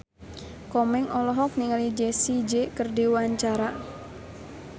Komeng olohok ningali Jessie J keur diwawancara